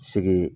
Segi